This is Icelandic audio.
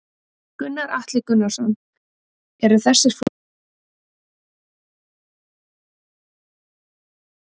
Gunnar Atli Gunnarsson: Eru þessir flokkar að hefja formlegar stjórnarmyndunarviðræður?